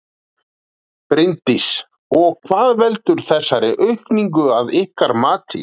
Bryndís: Og hvað veldur þessari aukningu að ykkar mati?